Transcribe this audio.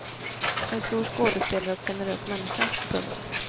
En stor skådespelare och generös människa. punkt